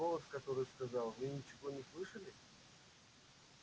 голос который сказал вы ничего не слышали